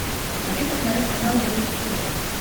хочу посмотреть канал бридж тв